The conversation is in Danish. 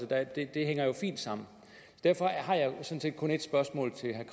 det hænger fint sammen derfor har jeg sådan set kun ét spørgsmål til herre